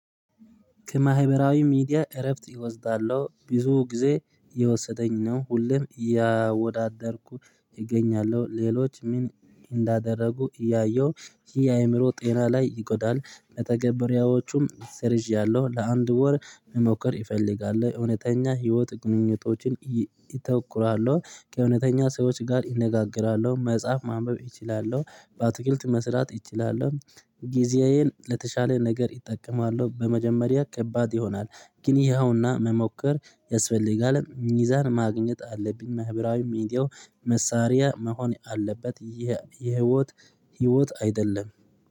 ከማህበራዊ ሚዲያ እረፍት እወስዳለሁ ብዙ ጊዜ እየወሰደኝ ነው ሁሉም እያወዳደርኩ እገኛለሁ ሌሎች ምን እንዳደረጉ እያየሁ የአእምሮ ጤና ላይ ይጎዳል ተገበሬዎቹም ሰርዣለሁ ለአንድ ወር መሞከር ይፈልጋል እውነተኛ ህይወት ግንኙነቶችን ይተኩራሉ ከእውነተኛ ሰዎች ጋር እነጋገራሉ መጽሐፍ ማንበብ እችላሉለሁ በአትክልት መስራት ይችላል ጊዜዬን ለተሻለ ነገር ይጠቀማለው። በመጀመሪያ ከባድ ይሆናል ግን ይሄውና መሞከር ያስፈልጋል። ሚዛን ማግኘት አለብኝ፣ መህብራዊ ሚዲያው መሳሪያ መሆን አለበት። ይህ የህይወት፣ ህይወት አይደለም።